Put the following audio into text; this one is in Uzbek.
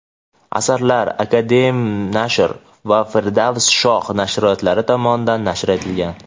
Asarlar "Akademnashr" va "Firdavs – shoh" nashriyotlari tomonidan nashr etilgan.